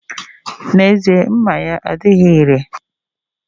N'ezie, mma ya adighi ire